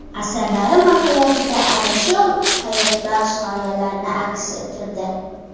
Asarlari mohiyatida ana shu hayotbaxsh g‘oyalarni aks ettirdi.